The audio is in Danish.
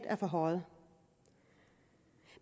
forhøjet